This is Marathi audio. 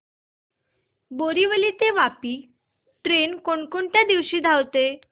बोरिवली ते वापी ट्रेन कोण कोणत्या दिवशी धावते